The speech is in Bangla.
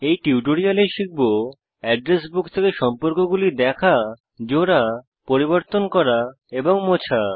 এই টিউটোরিয়ালে শিখব এড্রেস বুক থেকে সম্পর্কগুলি দেখা জোড়া পরিবর্তন করা এবং মোছা